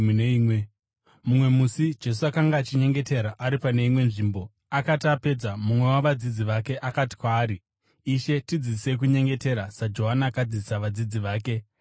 Mumwe musi Jesu akanga achinyengetera ari pane imwe nzvimbo. Akati apedza, mumwe wavadzidzi vake akati kwaari, “Ishe, tidzidzisei kunyengetera, saJohani akadzidzisa vadzidzi vake.”